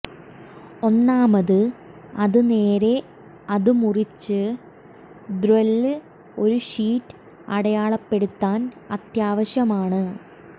ഒന്നാമത് അത് നേരെ അത് മുറിച്ച് ദ്ര്യ്വല്ല് ഒരു ഷീറ്റ് അടയാളപ്പെടുത്താൻ അത്യാവശ്യമാണ്